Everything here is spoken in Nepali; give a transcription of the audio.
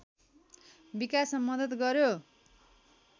विकासमा मद्दत गर्‍यो